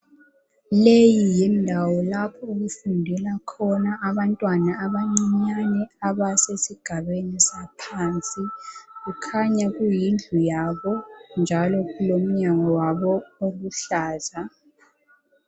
Leyi yindawo lapho okufundela khona abantwana abancinyane abasesigabeni saphansi kukhanya kuyindlu yabo njalo kulomnyango wabo oluhlaza.